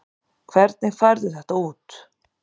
Hvernig færðu þetta út?